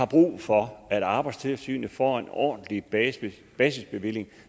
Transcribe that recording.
brug for at arbejdstilsynet får en ordentlig basisbevilling